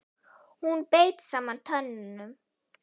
Hún beit saman tönnum.